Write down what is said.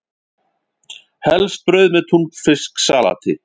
Helst brauð með túnfisksalati.